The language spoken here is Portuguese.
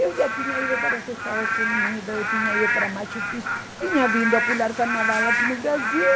Eu já tinha ido para os Estados Unidos, eu tinha ido para Machu Picchu, tinha vindo a pular carnaval aqui no Brasil.